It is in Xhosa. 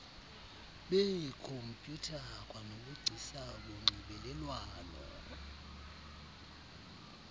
beekhompyutha kwanobugcisa bonxibelelwano